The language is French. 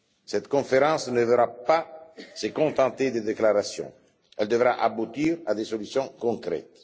Cette conférence ne devra pas se contenter de déclarations, mais aboutir à des solutions concrètes.